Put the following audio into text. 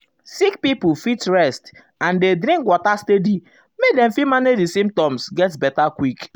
sick pipo fit rest and dey drink water steady make dem fit manage di symptoms get beta quick.